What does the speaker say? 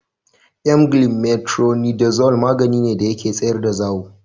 Emgyl metronidazole magani ne da ke tsayar da zawo.